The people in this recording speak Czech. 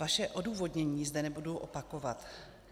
Vaše odůvodnění zde nebudu opakovat.